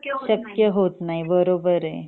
शक्य होत नाही बरोबर